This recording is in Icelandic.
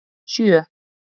sjö